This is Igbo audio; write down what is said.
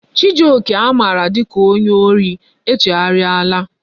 Chijioke a mara dika onye ori echegharia la